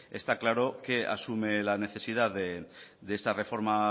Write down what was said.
está claro que asume la necesidad de esta reforma